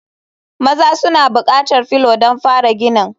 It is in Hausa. Maza suna buƙatar felu don fara ginin.